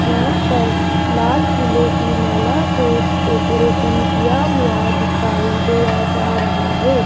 यहां पर लाल फूलों की माला से डेकोरेशन किया हुआ दिखाई दिया जा रहा है।